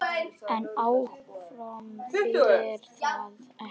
En áform þýðir það ekki.